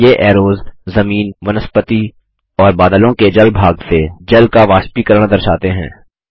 ये ऐरोज़ जमीन वनस्पति और बादलों के जल भाग से जल का वाष्पीकरण दर्शाते हैं